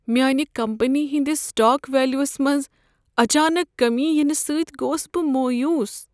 میانہ کمپٔنی ہنٛدس stock values منٛز اچانک کٔمی ینہٕ سۭتۍ گوس بہٕ مایوٗس۔